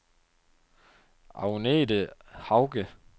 Agnete Hauge